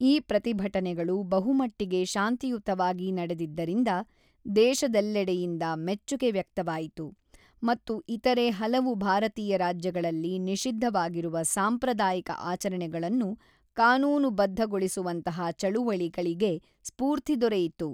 ಈ ಪ್ರತಿಭಟನೆಗಳು ಬಹುಮಟ್ಟಿಗೆ ಶಾಂತಿಯುತವಾಗಿ ನಡೆದಿದ್ದರಿಂದ ದೇಶದೆಲ್ಲೆಡೆಯಿಂದ ಮೆಚ್ಚುಗೆ ವ್ಯಕ್ತವಾಯಿತು ಮತ್ತು ಇತರೆ ಹಲವು ಭಾರತೀಯ ರಾಜ್ಯಗಳಲ್ಲಿ ನಿಷಿದ್ಧವಾಗಿರುವ ಸಾಂಪ್ರದಾಯಿಕ ಆಚರಣೆಗಳನ್ನು ಕಾನೂನುಬದ್ಧಗೊಳಿಸುವಂತಹ ಚಳುವಳಿಗಳಿಗೆ ಸ್ಫೂರ್ತಿ ದೊರೆಯಿತು.